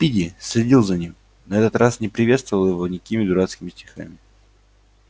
спиди следил за ним на этот раз не приветствовал его никакими дурацкими стихами